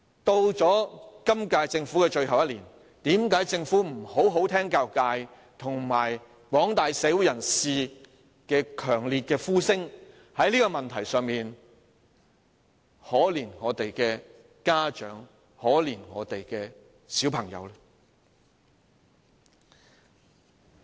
到了本屆政府任期的最後一年，為何政府仍不好好聆聽教育界和廣大社會人士的強烈呼聲，在這個問題上可憐一下我們的家長和小孩子？